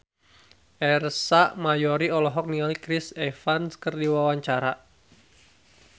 Ersa Mayori olohok ningali Chris Evans keur diwawancara